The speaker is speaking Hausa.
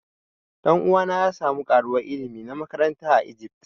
Dan'uwa na ya samu karowan ilimi na makaranta a Egypt.